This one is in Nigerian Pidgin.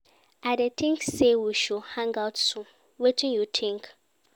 I dey think say we should hang out soon, wetin you think?